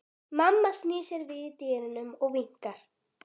Mamma snýr sér við í dyrunum og vinkar.